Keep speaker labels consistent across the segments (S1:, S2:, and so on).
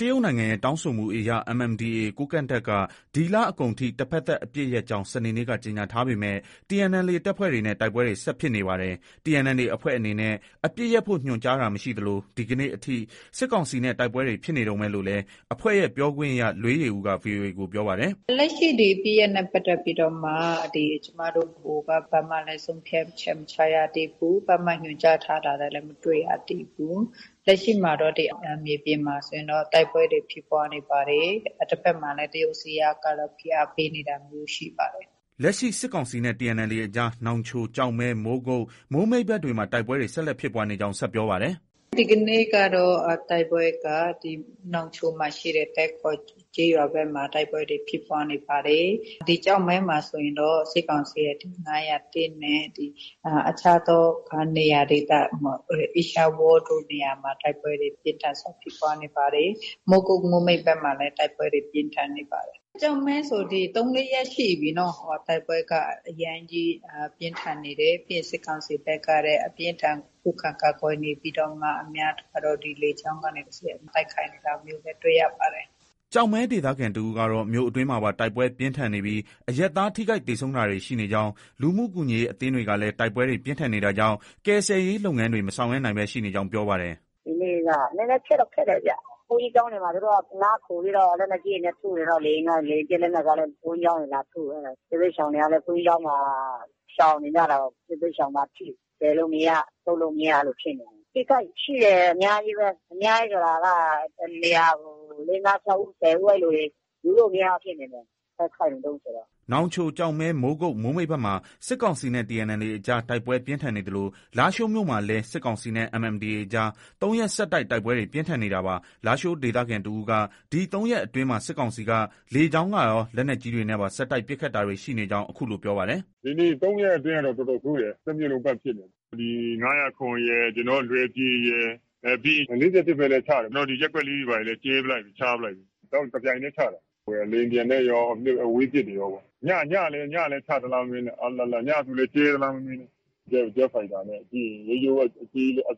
S1: တရုတ်နိုင်ငံရဲ့ တောင်းဆိုမှုအရ MNDAA ကိုးကန့်တပ်က ဒီလကုန်အထိ တဘက်သတ်အပစ်ရပ်ကြောင်း စနေနေ့က ကြေညာထားပေမဲ့ TNLA တပ်ဖွဲ့တွေနဲ့ တိုက်ပွဲတွေ ဆက်ဖြစ်နေပါတယ်။ TNLA အဖွဲ့အနေနဲ့ အပစ်ရပ်ဖို့ ညွှန်ကြားတာ မရှိသလို ဒီကနေ့အထိ စစ်ကောင်စီနဲ့ တိုက်ပွဲတွေ ဖြစ်နေတုန်းပဲလို့လည်း အဖွဲ့ရဲ့ပြောခွင့်ရ လွေးယေဦးက VOA ကို ပြောပါတယ်
S2: ။ “ လက်ရှိ ဒီ အပစ်ရပ်စဲရေးနဲ့ပတ်သက်ပြီးမှ ကျမတို့ ဗဟိုက ဘာမှလည်း ဆုံးဖြတ်ချက် မချရသေးဘူး။ ဘာမှ ညွှန်ကြားထားတာလည်း မတွေ့ရသေးဘူး။ လက်ရှိမှာဆိုရင် ဒီမြေပြင်မှာဆိုရင်တော့ တိုက်ပွဲတွေ ဖြစ်ပွားနေပါတယ်။ တဘက်မှာလည်း တရုတ်အစိုးရကတော့ ဖိအားပေးနေတာမျိုးတွေ ရှိပါတယ်
S1: ။ ” လက်ရှိ စစ်ကောင်စီနဲ့ TNLAအကြား နောင်ချို၊ ကျောက်မဲ၊ မိုးကုတ်၊ မိုးမိတ်ဘက်တွေမှာ တိုက်ပွဲတွေ ဆက်လက်ဖြစ်ပွားနေကြောင်း ဆက်ပြောပါတယ်။
S2: “ ဒီကနေ့ကတော့ တိုက်ပွဲက နောင်ချိုမှာ ရှိတဲ့ သဲကော်ကျေးရွာဘက်မှာ တိုက်ပွဲတွေဖြစ်ပွားနေပါတယ်။ နောက် ဒီ ကျောက်မဲမှာဆိုရင်တော့ စစ်ကောင်စီရဲ့ ၅၀၁နဲ့ အခြားသောနေရာဒေသတွေမှာ အေးရှားဝါးလ်တို့နေရာတွေမှာ တိုက်ပွဲတွေ ပြင်းထန်စွာ ဖြစ်ပွားနေတယ်။ မိုးကုတ်၊ မိုးမိတ်ဘက်မှာလည်း တိုက်ပွဲတွေ ဖြစ်ပွားနေပါတယ်။ ကျောက်မဲဆို ၃-၄ရက်ရှိပြီ တိုက်ပွဲက အရမ်းကြီး ပြင်းထန်နေတယ်။ ပြီးရင် စစ်ကောင်စီဘက်ကလည်း အပြင်းအထန် ခုခံကာကွယ်နေပြီးတော့မှ အများစုကတော့ ဒီ လေကြောင်းကနေ တဆင့်တိုက်ခိုက်နေတာကို တွေ့ရပါတယ်။
S1: ” ကျောက်မဲဒေသခံတဦးကတော့ မြို့အတွင်းမှာပါ တိုက်ပွဲပြင်းထန်နေပြီး အရပ်သား ထိခိုက်၊ သေဆုံးတာတွေ ရှိနေကြောင်း၊ လူမှုကူညီရေးအသင်းတွေကလည်း တိုက်ပွဲတွေ ပြင်းထန်နေတာကြောင့် ကယ်ဆယ်ရေးလုပ်ငန်းတွေ မဆောင်ရွက်နိုင်ဘဲ ရှိနေကြောင်း ပြောပါတယ်
S2: ။ “ ဒီနေ့က နည်းနည်း ခက်တော့ ခက်တယ်ဗျ။ ဘုန်းကြီးကျောင်းတွေမှာ သူတို့က နားခိုပြီးတော့ လက်နက်ကြီးတွေနဲ့ ထုနေတော့ လေယာဉ်က ၊ လေယာဉ်ပစ်လက်နက်ကလည်း ဘုန်းကြီးကျောင်းတွေ လာထု၊ အဲဒါ စစ်ဘေးရှောင်တွေကလည်း ဘုန်းကြီးကျောင်းမှာ ရှောင်နေကြတော့ စစ်ဘေးရှောင်ပါထိ။ ကယ်လို့ မရ၊ ထုတ်လို့ မရ အဲလို ဖြစ်နေတာ။ အထိအခိုက် ရှိတယ် အများကြီးပဲ။ အများကြီးဆိုတာက တနေရာကို ၄- ၅- ၆ ဦး ၁၀ဦး အဲလိုတွေ။ ယူလို့ မရဘူးဖြစ်နေတယ်။ တိုက်ခိုက်နေဆုံးဆိုတော့။
S1: ” နောင်ချို၊ ကျောက်မဲ၊ မိုးကုတ်၊ မိုးမိတ်ဘက်မှာ စစ်ကောင်စီနဲ့ TNLA အကြား တိုက်ပွဲပြင်းထန်နေသလို လားရှိုးမြို့မှာလည်း စစ်ကောင်စီနဲ့ MNDAA အကြား ၃ရက်ဆက်တိုက် တိုက်ပွဲတွေ ပြင်းထန်နေတာပါ။ လားရှိုးဒေသခံ တဦးက ဒီ ၃ရက်အတွင်းမှာ စစ်ကောင်စီက လေကြောင်းကရော၊ လက်နက်ကြီးတွေနဲ့ပါ ဆက်တိုက် ပစ်ခတ်တိုက်ခိုက်တာတွေရှိနေကြောင်း အခုလို ပြောပါတယ်။
S3: “ ဒီနေ့ ၃ရက်အတွင်းကတော့ တော်တော်ဆိုးတယ်။ တမြို့လုံး ပတ်ဖြစ်နေတာ။ ဒီ ၅၀၇ ရယ်၊ လွယ်ပြေရယ်။ ပြီးရင် ၄၁ဘက်လည်း ချတယ်။ ကျနော်တို့ ဒီ ရပ်ကွက် ၄တွေဘာတွေလည်း ကြဲပစ်လိုက်ပြီ။ ချပစ်လိုက်ပြီ။ တပြိုင်တည်း ချတာ။ လေယာဉ်ပျံနဲ့ရော ၊ အဝေးပစ်တွေနဲ့ရောပေ့ါ။ ညကလည်းချသလား မမေးနဲ့။ ညဆိုလည်းကြဲသလား မမေးနဲ့။ ဂျက်ဖိုက်တာနဲ့ ပြီးရင် အ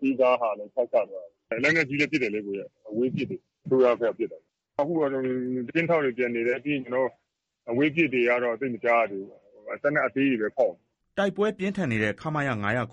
S3: သေးစားဟာနဲ့လည်း ချ ချသွားတာ။ လက်နက်ကြီးတွေလည်း ပစ်တယ်။ အဝေးပစ်တွေ။ အစိုးရဘက်ကပစ်တာပေါ့။ အခုကတော့ ကင်းထောက်တွေ ပျံနေတယ်။ အဝေးပစ်တွေကတော့ သိပ်မကြားရတော့ဘူး။သေနတ်အသေးတွေပဲ ဖောက်နေတ
S1: ာ။ ” တိုက်ပွဲပြင်းထန်နေတဲ့ ခမရ ၅၀ရ၊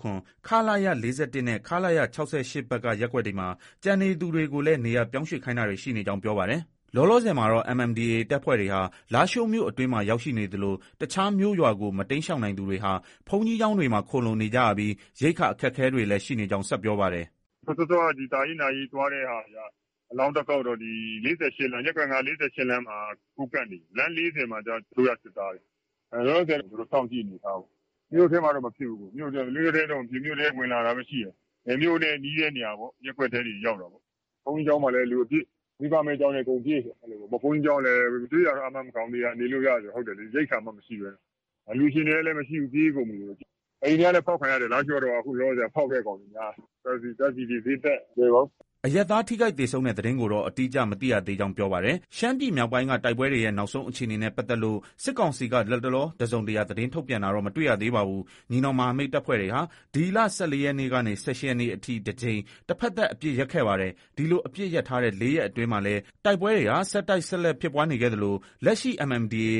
S1: ခလရ ၄၁နဲ့ ခလရ ၆၈ ဘက်က ရပ်ကွက်တွေမှာ ကျန်နေသူတွေကိုလည်း နေရာပြောင်းရွှေ့ခိုင်းတာတွေ ရှိနေကြောင်း ပြောပါတယ်။ လောလောဆည်မှာတော့ MNDAA တပ်ဖွဲ့တွေဟာ လားရှိုးမြို့အတွင်းမှာ ရောက်ရှိနေသလို တခြားမြို့ရွာကို မတိမ်းရှောင်နိုင်သူတွေဟာ ဘုန်းကြီးကျောင်းတွေမှာ ခိုလှုံနေကြရပြီး ရိက္ခာ အခက်အခဲတွေလည်း ရှိနေကြောင်း ဆက်ပြောပါတယ်။
S3: “ စောစောက ဒီ သာယာနာရေး သွားတဲ့ဟာတွေက အလောင်းသွားကောက်တော့ ၄၈ လမ်း ၊ ရပ်ကွက် ၅ ၄၈လမ်း မှာ ကိုးကန့်တွေ၊ လမ်း ၄၀မှာကျ အစိုးရစစ်သားတွေ၊ လောလောဆည်ကတော့ သူတို့ စောင့်ကြည့်အနေအထားပဲ။ မြို့ထဲမှာတော့ မဖြစ်ဘူး။ မြို့ထဲ ဝင်လာတာပဲ ရှိတယ်။ မြို့နဲ့ နီးတဲ့နေရာပေါ့။ ရပ်ကွက်ထဲတွေ ရောက်တာပေါ့။ ဘုန်းကြီးကျောင်းတွေလည်း လူအပြည့်။ မိဘမဲ့ကျောင်းတွေမှာလည်း လူအပြည့်။ ဘုန်းကြီးကျောင်းလည်း ကျွေးတာတော့ အာမခံဘူး။ နေလို့ ရတယ်။ ဟုတ်တယ်လေ ရိက္ခာမှ မရှိဘဲ။ အလှုရှင်တွေကလည်း မရှိဘူး ပြေးကုန်ပြီ။ အိမ်တွေကလည်း ဖောက်ခံရတယ်။ လားရှိုးကတော့ ဖောက်တဲ့ကောင်တွေ များတယ်။ ဓါတ်ဆီတွေ ဈေးတက်။ မလွယ်ပါဘူး။
S1: ” အရပ်သား ထိခိုက်သေဆုံးတဲ့သတင်းကိုတော့ အတိအကျ မသိရသေးကြောင်း ပြောပါတယ်။ ရှမ်းပြည်မြောက်ပိုင်းက တိုက်ပွဲတွေ နောက်ဆုံးအခြေအနေနဲ့ ပတ်သက်လို့ စစ်ကောင်စီက လတ်တလော တစုံတရာ သတင်းထုတ်ပြန်တာတော့ မတွေ့ရသေးပါဘူး။ ညီနောင်မဟာမိတ်တပ်ဖွဲ့တွေဟာ ဒီလ ၁၄ရက်ကနေ ၁၈ရက်နေ့အထိ တကြိမ် တဘက်သတ် အပစ်ရပ်ခဲ့ပါတယ်။ ဒီလို အပစ်ရပ်ထားတဲ့ ၄ရက်အတွင်းမှာလည်း တိုက်ပွဲတွေဟာ ဆက်တိုက် ဆက်လက်ဖြစ်ပွားနေခဲ့သလို လက်ရှိ MNDAA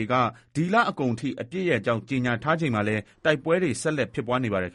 S1: ဒီလ ကုန်အထိ အပစ်ရပ်ကြောင်း ကြေညာထားချိန်မှာလည်း တိုက်ပွဲတွေ ဆက်လက် ဖြစ်ပွားနေပါတယ်